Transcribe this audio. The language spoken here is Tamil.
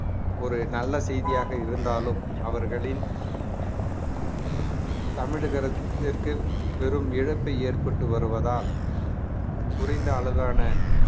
ஒரு நல்ல செய்தியாக இருந்தாலும் அவர்களின் தமிழகத்திற்கு பெரும் இழப்பை ஏற்பட்டு வருவதால் குறைந்த அளவான